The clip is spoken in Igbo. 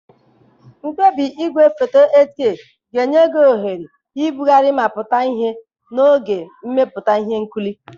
Mkpebi igwefoto 8K ga-enye gị ohere ibugharị ma pụta ihe n'oge mmepụta ihe nkiri.